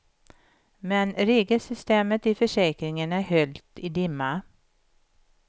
Men regelsystemet i försäkringen är höljt i dimma.